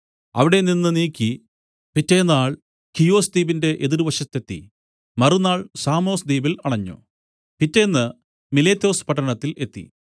അവിടെനിന്ന് നീക്കി പിറ്റെന്നാൾ ഖിയൊസ്ദ്വീപിന്റെ എതിർവശത്തെത്തി മറുനാൾ സാമൊസ്ദ്വീപിൽ അണഞ്ഞു പിറ്റേന്ന് മിലേത്തൊസ് പട്ടണത്തിൽ എത്തി